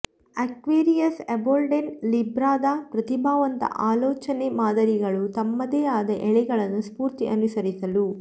Aquarius embolden ಲಿಬ್ರಾದ ಪ್ರತಿಭಾವಂತ ಆಲೋಚನೆ ಮಾದರಿಗಳು ತಮ್ಮದೇ ಆದ ಎಳೆಗಳನ್ನು ಸ್ಫೂರ್ತಿ ಅನುಸರಿಸಲು